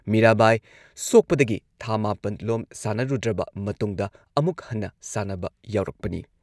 ꯃꯤꯔꯥꯕꯥꯏ ꯁꯣꯛꯄꯗꯒꯤ ꯊꯥ ꯃꯥꯄꯟ ꯂꯣꯝ ꯁꯥꯟꯅꯔꯨꯗ꯭ꯔꯕ ꯃꯇꯨꯡꯗ ꯑꯃꯨꯛ ꯍꯟꯅ ꯁꯥꯟꯅꯕ ꯌꯥꯎꯔꯛꯄꯅꯤ꯫